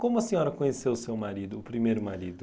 Como a senhora conheceu o seu marido, o primeiro marido?